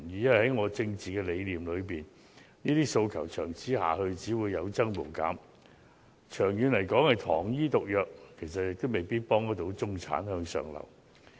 因為在我的政治理念裏，這些訴求長此下去只會有增無減，長遠來說是糖衣毒藥，未必真能協助中產向上流動。